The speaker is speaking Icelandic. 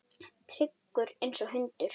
Tryggur einsog hundur.